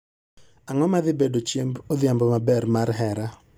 Ang'o ma dhi bedo chiemb odhiambo maber mar hera